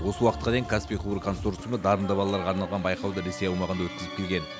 осы уақытқа дейін каспий құбыр консорциумы дарынды балаларға арналған байқауды ресей аумағында өткізіп келген